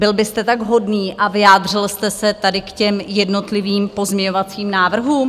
Byl byste tak hodný a vyjádřil jste se tady k těm jednotlivým pozměňovacím návrhům?